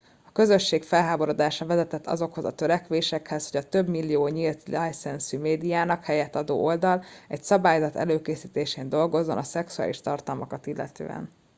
a közösség felháborodása vezetett azokhoz a törekvésekhez hogy a több millió nyílt licencű médiának helyet adó oldal egy szabályzat előkészítésén dolgozzon a szexuális tartalmakat illetően